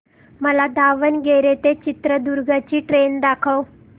मला दावणगेरे ते चित्रदुर्ग ची ट्रेन दाखव